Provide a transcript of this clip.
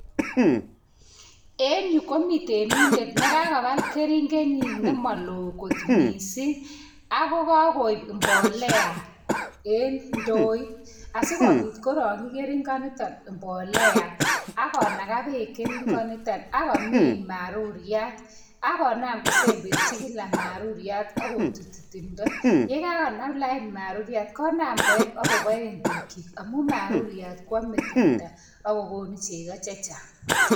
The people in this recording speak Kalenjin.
En yu komi temindet nekakobal keringenyin nemaloo kot mising ago kagoip mbolea en ndoit asigopit korongchi keringonito mbolea ak konaga beek keringonito ak komin maruriat ak konam kosemberchi kila maruriat akkotutyi timndo. Yekakonam lain maruriat konam koep agoboen tukyik amun maruriat kwame teta ak kogonu cheko che chang.